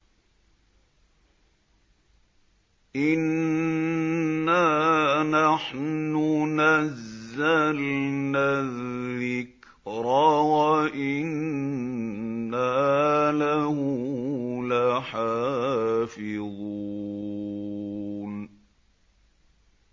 إِنَّا نَحْنُ نَزَّلْنَا الذِّكْرَ وَإِنَّا لَهُ لَحَافِظُونَ